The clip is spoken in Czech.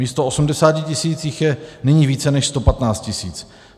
Místo 80 tisíc jich je nyní více než 115 tisíc.